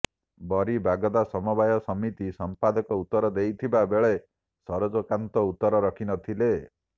ବରୀ ବାଗଦା ସମବାୟ ସମିତି ସଂପାଦକ ଉତ୍ତର ଦେଇଥିବା ବେଳେ ସରୋଜକାନ୍ତ ଉତ୍ତର ରଖି ନଥିଲେ